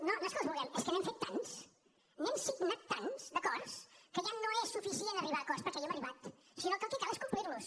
no és que els vulguem és que n’hem fet tants n’hem signat tants d’acords que ja no és suficient arribar a acords perquè hi hem arribat sinó que el que cal és complirlos